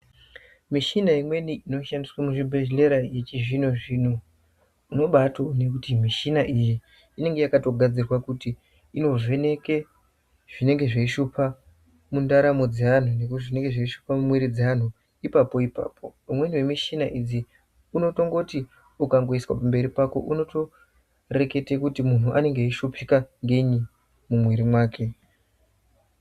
Mishina imweni inoshandiswe muzvibhedhlera yechizvinozvino unobatoone kuti mishina iyi inenge yakatogadzirwe kuti inovheneke zvinenge zveishupa mundaramo dzeanthu ngekuti zvinenge zveishupa mumwiri dzeanthu ipapo ipapo. Umweni wemushina idzi unotongoti ukatoiswa pamberi pako unotoreketa kuti munthu unonge weishupika ngei mumwiri mwake.